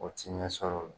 O ti ɲɛ sɔrɔ o la